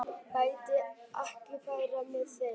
Gíta, ekki fórstu með þeim?